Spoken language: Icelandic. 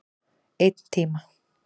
Einn tíma.